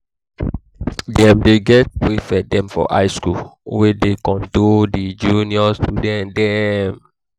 dem dey get prefect dem for high skool wey dey control di junior student dem.